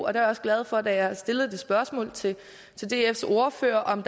er også glad for at da jeg stillede det spørgsmål til dfs ordfører om